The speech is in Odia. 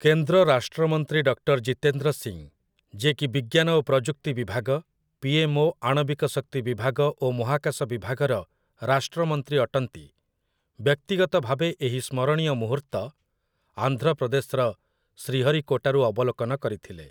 କେନ୍ଦ୍ର ରାଷ୍ଟ୍ରମନ୍ତ୍ରୀ ଡକ୍ଟର୍ ଜିତେନ୍ଦ୍ର ସିଂ, ଯିଏକି ବିଜ୍ଞାନ ଓ ପ୍ରଯୁକ୍ତି ବିଭାଗ, ପି.ଏମ୍‌.ଓ, ଆଣବିକ ଶକ୍ତି ବିଭାଗ ଓ ମହାକାଶ ବିଭାଗର ରାଷ୍ଟ୍ରମନ୍ତ୍ରୀ ଅଟନ୍ତି, ବ୍ୟକ୍ତିଗତ ଭାବେ ଏହି ସ୍ମରଣୀୟ ମୁହୂର୍ତ୍ତ ଆନ୍ଧ୍ରପ୍ରଦେଶର ଶ୍ରୀହରିକୋଟାରୁ ଅବଲୋକନ କରିଥିଲେ ।